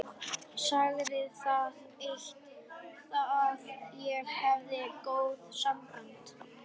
Sagði það eitt að ég hefði góð sambönd.